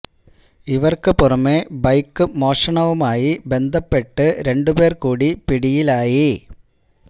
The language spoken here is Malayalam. ഇവർക്കു പുറമേ ബൈക്ക് മോഷണവുമായി ബന്ധപ്പെട്ട് രണ്ടു പേർ കൂടി പിടിയിലായി